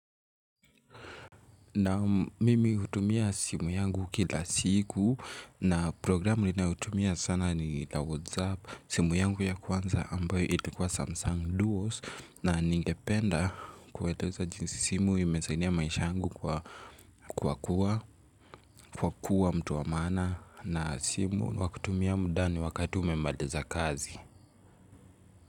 Naam mimi hutumia simu yangu kila siku na programu ninayotumia sana ni la whatsapp simu yangu ya kwanza ambayo ilikuwa samsung duos na ningependa kueleza jinsi simu imesaidia maisha yangu kwa kuwa mtu wa maana na simu ni ya kutumia mudani wakati umemaliza kazi.